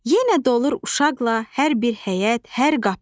Yenə dolur uşaqla hər bir həyət, hər qapı.